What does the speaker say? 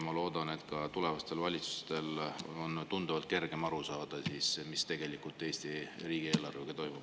Ma loodan, et tulevastel valitsustel on tunduvalt kergem aru saada, mis tegelikult Eesti riigieelarvega toimub.